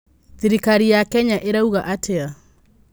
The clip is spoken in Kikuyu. Thĩrĩkarĩ ya Kenya ĩrauga atĩa?